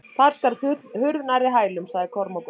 Þar skall hurð nærri hælum, sagði Kormákur.